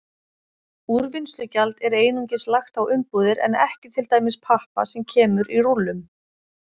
Úrvinnslugjald er einungis lagt á umbúðir en ekki til dæmis pappa sem kemur í rúllum.